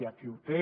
aquí ho té